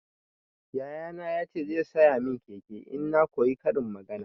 Yaya na ya ce zai saya min keke in na koyi karin magana.